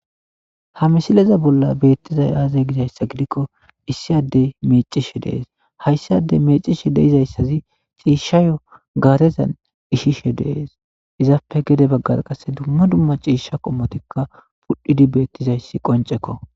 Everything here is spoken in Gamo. ha misileza bolla beettizay aazay gizayssa gidikko issi addey mecishe dees hayssi adey meecishe deizayssazi ciishshayo gaarezan ishishe dees izappe gede baggar qasse dumma dumma ciisha qommotikka pudhdhidi beettizayssi qoncekko